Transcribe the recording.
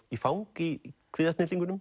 í fang í